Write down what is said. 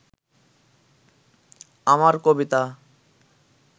আমার কবিতা